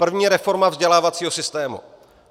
První reforma vzdělávacího systému.